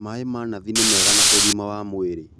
Maĩ ma nathi nĩ mega na ũgima wa mwĩrĩ